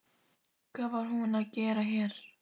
Hvað var hún að gera hér?